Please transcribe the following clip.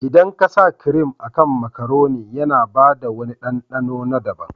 Idan ka sa kirim a kan makaroni, yana bada wani ɗanɗano na daban.